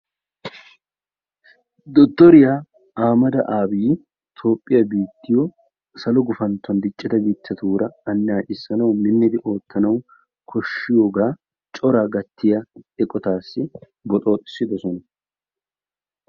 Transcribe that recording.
dotoriya ahmed aabi toophiya salo gufanto biitatuura lageyanawu minttidi oottanawu kodshiyooga coraa gattiya eqqotassi boxooxissidosona.